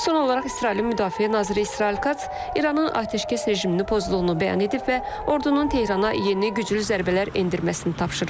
Son olaraq İsrailin Müdafiə Naziri İsrail Kats İranın atəşkəs rejimini pozduğunu bəyan edib və ordunun Tehrana yeni güclü zərbələr endirməsini tapşırıb.